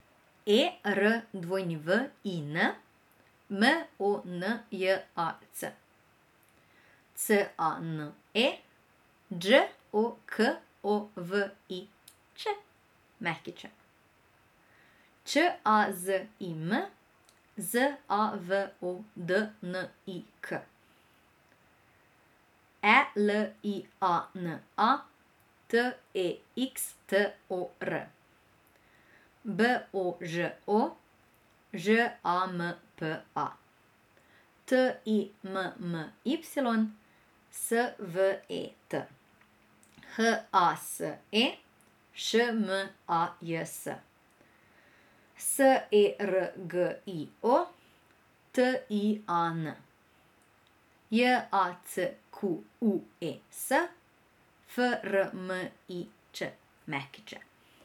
E R W I N, M O N J A C; C A N E, Đ O K O V I Ć Ć; Č A Z I M, Z A V O D N I K; E L I A N A, T E X T O R; B O Ž O, Ž A M P A; T I M M Y, S V E T; H A S E, Š M A J S; S E R G I O, T I A N; J A C Q U E S, F R M I Ć Ć.